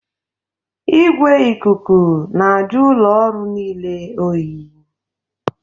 Igwe ikuku na-ajụ ụlọ ọrụ niile oyi